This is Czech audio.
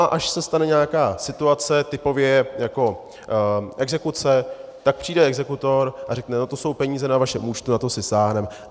A až se stane nějaká situace typově jako exekuce, tak přijde exekutor a řekne: no to jsou peníze na vašem účtu, na to si sáhneme.